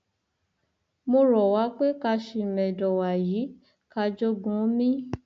mo rọ wá pé ká ṣìmẹdọ wàyí ká jogúnòmi